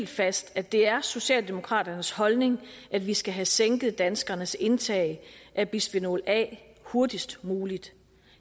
fast at det er socialdemokraternes holdning at vi skal have sænket danskernes indtag af bisfenol a hurtigst muligt